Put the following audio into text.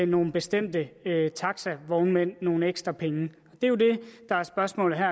nogle bestemte taxavognmænd nogle ekstra penge det er jo det der er spørgsmålet her